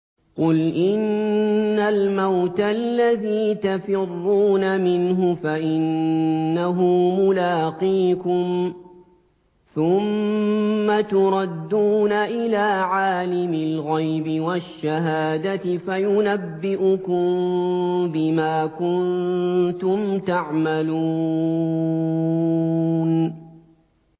قُلْ إِنَّ الْمَوْتَ الَّذِي تَفِرُّونَ مِنْهُ فَإِنَّهُ مُلَاقِيكُمْ ۖ ثُمَّ تُرَدُّونَ إِلَىٰ عَالِمِ الْغَيْبِ وَالشَّهَادَةِ فَيُنَبِّئُكُم بِمَا كُنتُمْ تَعْمَلُونَ